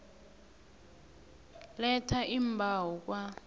letha iimbawo kwa